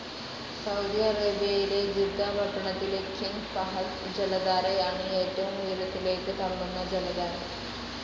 Saudi അറേബ്യയിലെ Jeddah പട്ടണത്തിലെ King Fahd ജലധാരയാണ് ഏറ്റവും ഉയരത്തിലേക്ക് തള്ളുന്ന ജലധാര.